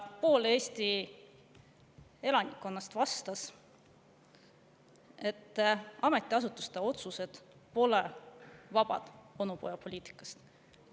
Pool Eesti elanikkonnast vastas, et ametiasutuste otsused pole vabad onupojapoliitika.